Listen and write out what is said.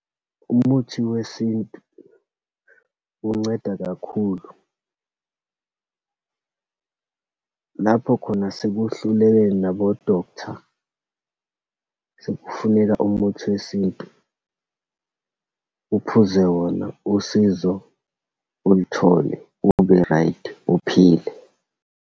Umuthi wesintu unceda kakhulu. Lapho khona sekuhluleke nabo-doctor, sekufuneka umuthi wesintu. Uphuze wona, usizo ulithole, ube-right, uphile.